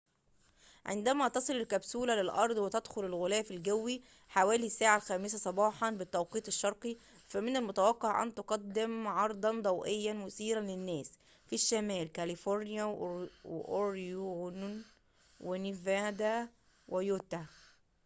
عندما تصل الكبسولة للأرض وتدخل الغلاف الجوّي، حوالي الساعة الخامسة صباحاً بالتوقيت الشرقي، فمن المتوقع أن تقدّم عرضاً ضوئياً مثيراً للناس في شمال كاليفورنيا، وأوريغون، ونيفادا ويوتا